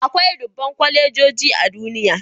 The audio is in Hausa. Akwai dubban kwalejoji a duniya